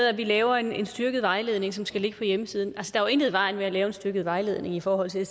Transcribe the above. at vi laver en styrket vejledning som skal ligge på hjemmesiden at der i vejen med at lave en styrket vejledning i forhold til